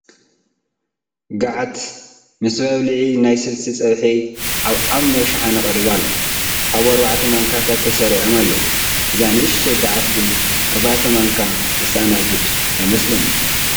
ገዓት ምስ መባልዒ ናይ ስልሲ ፀብሑ ኣብ ዓሚቕ ሸሓነ ቀሪቡ ኣሎ፡፡ ኣብኡ ኣርባዕተ ማንካታት ተሰኪዖም ኣለዉ፡፡ እዛ ንኡሽተይ ገዓት ግን ኣርባዕተ ማንካ ተስተኣናግድ ኣይመስለንን፡፡